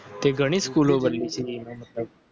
તે ઘણી સ્કૂલો બદલી છે.